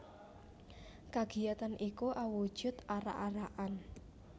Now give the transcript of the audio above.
Kagiyatan iku awujud arak arakan